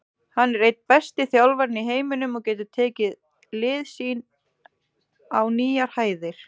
Hann er einn besti þjálfarinn í heiminum og getur tekið lið sín á nýjar hæðir.